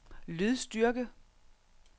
lydstyrke